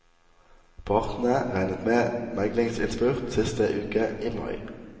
Partene regnet med meglingsinnspurt siste uke i mai.